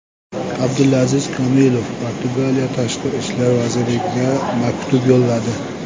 Abdulaziz Komilov Portugaliya tashqi ishlar vaziriga maktub yo‘lladi.